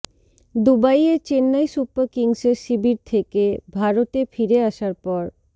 দুবাইয়ে চেন্নাই সুপার কিংসের শিবির থেকে ভারতে ফিরে আসার পর